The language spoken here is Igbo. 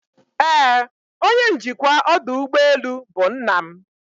Ee, onye njikwa ọdụ ụgbọ elu bụ nna m